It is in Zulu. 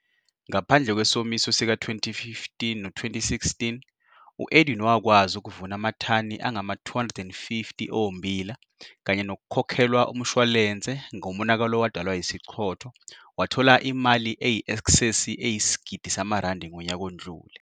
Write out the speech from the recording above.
Ngaphandle kwesomiso sika-2015 no2016, u-Edwin wakwazi ukuvuna amathani angama-250 ommbila kanye nokukhokhelwa umshwalense ngomonakalo owadalwa yisichotho wathola imali eyi-esksesi eyisigidi samarandi ngonyaka odlule.